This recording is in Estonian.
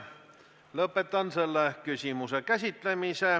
Lõpetan selle küsimuse käsitlemise.